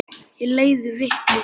Ég leiði vitni.